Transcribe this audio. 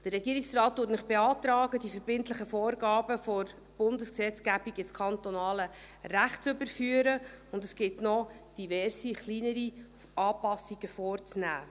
Der Regierungsrat beantragt Ihnen, die verbindlichen Vorgaben der Bundesgesetzgebung ins kantonale Recht zu überführen, und es gibt noch diverse kleinere Anpassungen vorzunehmen.